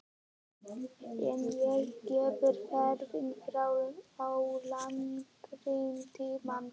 En ég get farið fram á lengri tíma.